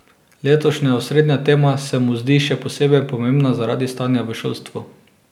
Letošnja osrednja tema se mu zdi še posebej pomembna zaradi stanja v šolstvu.